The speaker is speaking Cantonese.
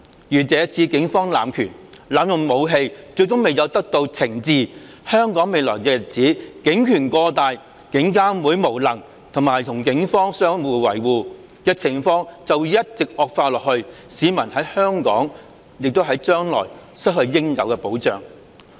如這次警方濫權，濫用武器，最終未有得到懲治，香港未來的日子警權過大，監警會無能並與警方相互維護的情況便會一直惡化下去，市民將來在香港會失去應有的保障。